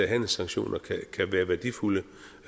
handelssanktioner kan være værdifulde